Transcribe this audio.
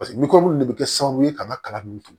paseke ni ko munnu de be kɛ sababu ye ka n ka kalan nunnu